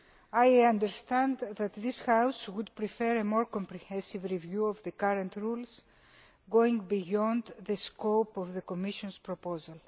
I understand that this House would prefer a more comprehensive review of the current rules, going beyond the scope of the Commission's proposal.